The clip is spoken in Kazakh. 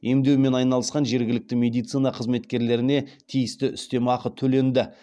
емдеумен айналысқан жергілікті медицина қызметкерлеріне тиісті үстем ақы төленді